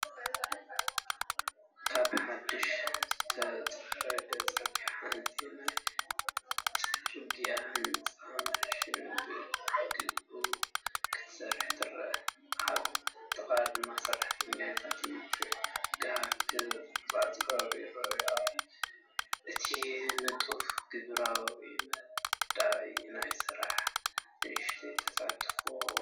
ኣብ ሓድሽ ዝተጸረገ ጽርግያ ሓንቲ ናይ ጽርግያ ህንጸት ማሽን ብግቡእ ክትሰርሕ ትረአ። ኣብ ጥቓኡ ድማ ሰራሕተኛታት ብትግሃት ክቆጻጸሩ ይረኣዩ። እቲ ንጡፍን ግብራውን መዳይ ናይቲ ስራሕ ንእሽቶ ተስፋ ይህብ።